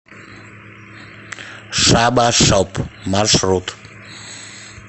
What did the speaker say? шаба шоп маршрут